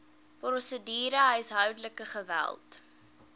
prosedure huishoudelike geweld